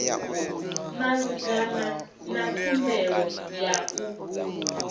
malugana na khumbelo ya u